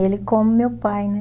Ele como meu pai, né?